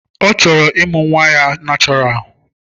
Ọ chọrọ ịmụ nwa ya nachoral.